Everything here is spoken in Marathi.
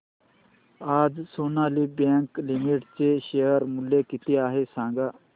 आज सोनाली बँक लिमिटेड चे शेअर मूल्य किती आहे सांगा